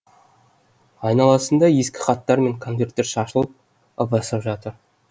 айналасында ескі хаттар мен конверттер шашылып ыбырсып жатыр